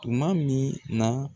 Tuma min na